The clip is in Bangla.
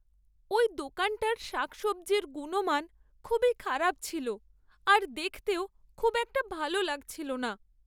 ওই দোকানটার শাকসবজির গুণমান খুবই খারাপ ছিল আর দেখতেও খুব একটা ভালো লাগছিল না।